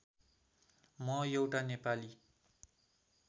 म एउटा नेपाली